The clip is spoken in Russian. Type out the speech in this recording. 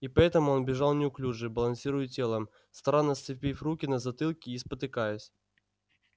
и поэтому он бежал неуклюже балансируя телом странно сцепив руки на затылке и спотыкаясь